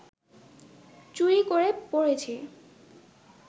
চুরি করে পরেছি